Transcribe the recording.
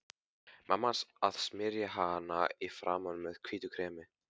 Mamma hans að smyrja hana í framan með hvítu kremi.